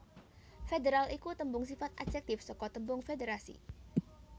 Federal iku tembung sifat adjektif saka tembung Federasi